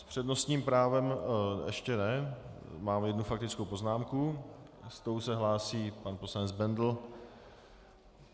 S přednostním právem ještě ne - mám jednu faktickou poznámku, s tou se hlásí pan poslanec Bendl.